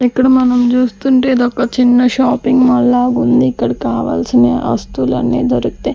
ఇక్కడ మనం జూస్తుంటే ఇదొక ఒక చిన్న షాపింగ్ మాల్ లాగుంది ఇక్కడ కావల్సిన వస్తువులన్నీ దొరుకుతాయ్.